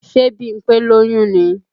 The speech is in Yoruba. Ṣe Bímpé lóyún ni?